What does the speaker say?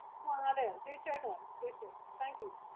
തീർച്ചയായിട്ടു വാ wait ചെയ്യാം Thank You